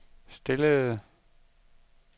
stillede